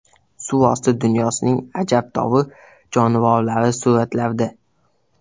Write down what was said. Suvosti dunyosining ajabtovur jonivorlari suratlarda.